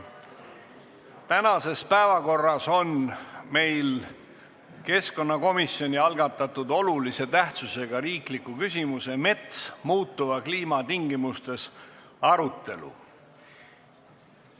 Tänases päevakorras on meil keskkonnakomisjoni algatatud olulise tähtsusega riikliku küsimuse "Mets muutuva kliima tingimustes" arutelu.